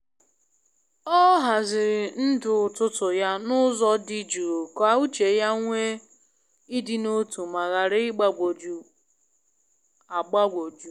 O haziri ndụ ụtụtụ ya n’ụzọ di jụụ ka uche ya nwee ị dị n’otu ma ghara ịgbanwoju agbanwoju.